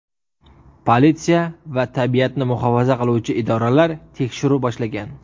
Politsiya va tabiatni muhofaza qiluvchi idoralar tekshiruv boshlagan.